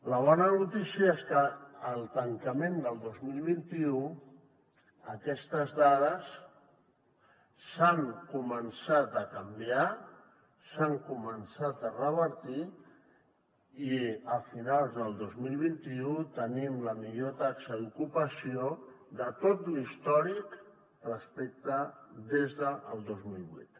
la bona notícia és que al tancament del dos mil vint u aquestes dades han començat a canviar s’han començat a revertir i a finals de dos mil vint u tenim la millor taxa d’ocupació de tot l’històric des del dos mil vuit